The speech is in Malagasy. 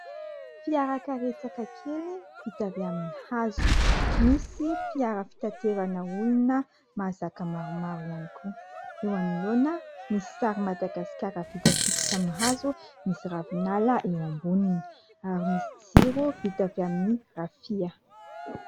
Fiarakaretsaka kely vita amin'ny hazo. Misy fiara fitaterana olona mahazaka maromaro ihany koa. Eo anoloana misy sary Madagasikara vita sikotra amin'ny hazo misy ravinala eo amboniny, ary misy jiro vita avy amin'ny rafia.